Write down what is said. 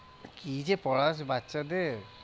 কি যে পোড়াস বাচ্চাদের?